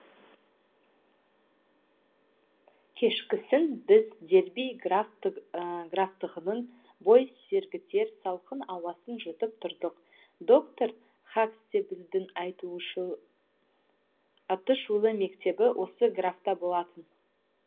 кешкісін біз дерби графтығының бой сергітер салқын ауасын жұтып тұрдық доктор хакстейблдің атышулы мектебі осы графтықта болатын